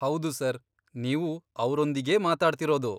ಹೌದು ಸರ್, ನೀವು ಅವ್ರೊಂದಿಗೇ ಮಾತಾಡ್ತಿರೋದು.